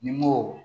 Nimoro